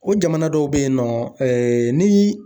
O jamana dɔw be yen nɔ ni